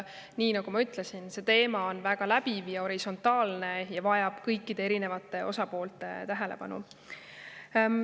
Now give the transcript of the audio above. Nii nagu ma ütlesin, see teema on läbiv ja horisontaalne ja vajab kõikide osapoolte tähelepanu.